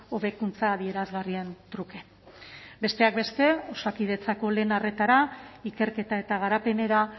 hobekuntza adierazgarrien truke besteak beste osakidetzako lehen arretara ikerketa eta garapenera